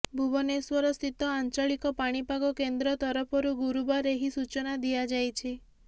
ଭୁବନେଶ୍ୱରସ୍ଥିତ ଆଞ୍ଚଳିକ ପାଣିପାଗ କେନ୍ଦ୍ର ତରଫରୁ ଗୁରୁବାର ଏହି ସୂଚନା ଦିଆଯାଇଛି